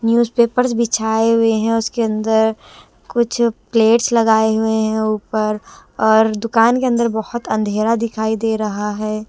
Newspapers बिछाए हुए हैं उसके अंदर कुछ प्लेट्स लगाए हुए हैं ऊपर और दुकान के अंदर बहुत अंधेरा दिखाई दे रहा है।